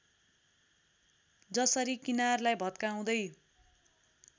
जसरी किनारलाई भत्काउँदै